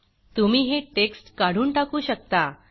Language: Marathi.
तुम्ही हे टेक्स्ट काढून टाकू शकता